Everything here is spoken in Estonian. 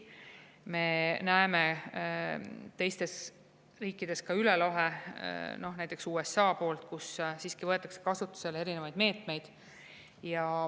Me näeme, et teistes riikides, näiteks USA-s võetakse kasutusele erinevaid meetmeid.